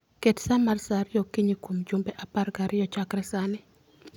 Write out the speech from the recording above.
Ket sa mar sa ariyo okinyi kuom jumbe apar gariyo chakre sani